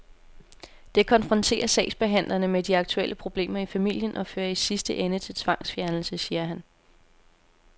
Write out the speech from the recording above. Det konfronterer sagsbehandlerne med de aktuelle problemer i familien og fører i sidste ende til tvangsfjernelse, siger han.